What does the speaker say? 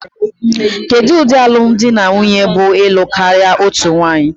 Kedu ụdị alụm di na nwunye bụ ịlụ karịa otu nwanyị?